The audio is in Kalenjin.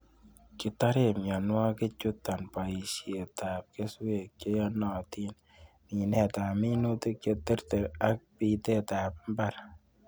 Kitoren mionwokikchuton boisietab keswek cheyonotin, minetab minutik cheterter ak bitetab mbar.